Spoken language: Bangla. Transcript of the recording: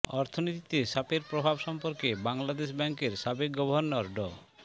অর্থনীতিতে সাপের প্রভাব সম্পর্কে বাংলাদেশ ব্যাংকের সাবেক গভর্নর ড